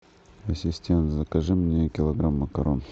ассистент закажи мне килограмм макарон